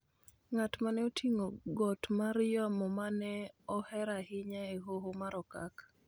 ng�at ma ne oting�o got mar yamo ma ne ohero ahinya e Hoho mar Okak